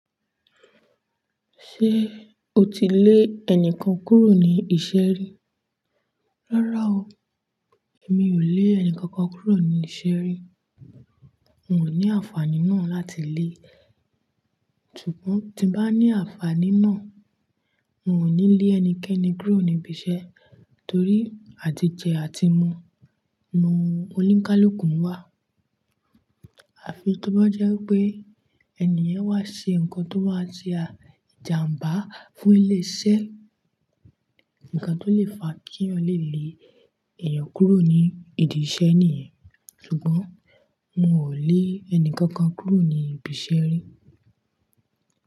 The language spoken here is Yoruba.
Ṣé o ti lé ẹni kan kúrò ní iṣẹ́ rí? Rárá o. Èmi ò lé ẹni kankan kúrò ní iṣẹ́ rí. N ní àǹfàní náà láti lé. Sùgbọ̀ tí bá ní àǹfàní náà, n ò ní lé ẹnikẹ́ni kúrò ní ibi iṣẹ́ torí àtijẹ̀ àti mu nu oníkálùkùn wá. Àfi kí wá jẹ́ wepé ènìyàn wá ṣe nǹkan tó wá ṣe àjàǹbá fún iṣẹ́. Ǹkan tó lè fa kí yàn le lé èèyàn kúrò ní idi iṣẹ́ nìyẹn. Ṣùgbọ́n n ò lé ẹni kankan kúrò ní ibi iṣẹ́ rí.